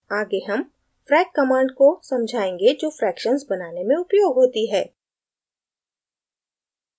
आगे हम frac command को समझायेंगे जो fractions बनाने में उपयोग होती है